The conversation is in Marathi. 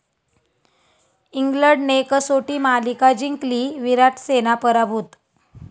इंग्लंडने कसोटी मालिका जिंकली, 'विराट सेना' पराभूत